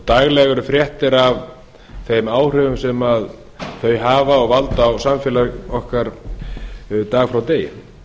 daglega eru fréttir af þeim áhrifum sem þau hafa og valda á samfélag okkar dag frá degi